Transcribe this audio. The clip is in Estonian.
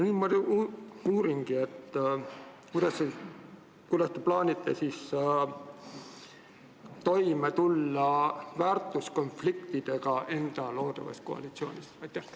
Ma uuringi, kuidas te plaanite väärtuskonfliktidega loodavas koalitsioonis toime tulla.